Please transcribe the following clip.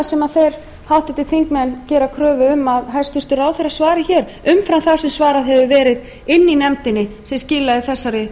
hvað er það sem háttvirtir þingmenn gera kröfu um að hæstvirtir ráðherrar svari hér umfram það sem svarað hefur verið inni í nefndinni sem skilaði þessari